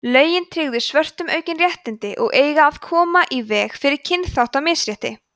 lögin tryggðu svörtum aukin réttindi og eiga að koma í veg fyrir kynþáttamisrétti